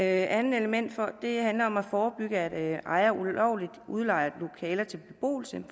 andet element handler om at forebygge at ejere ulovligt udlejer lokaler til beboelse